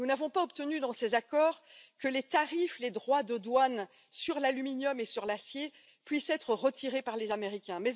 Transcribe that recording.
Nous n'avons pas obtenu, dans ces accords, que les droits de douane sur l'aluminium et sur l'acier puissent être retirés par les Américains.